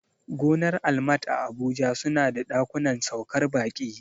Gonar almat a abuja suna da ɗakunan saukar baƙi